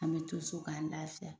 An bɛ to so k'an lafiya